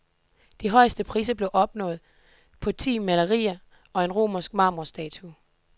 De højeste priser blev opnået på ti malerier og en romansk marmorstatue.